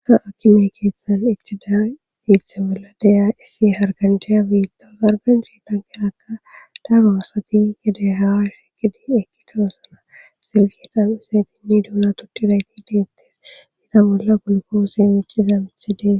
Aa akime keeththan icchida iithe bolla deya issi harkanjhiya biitta harkanjhi dankerakka daro asati gede hawa shi kidi ekki daro sana silkeetan usaytinni duuna tuttidayti deettes ita bolla gulkoose micciza mithi dees.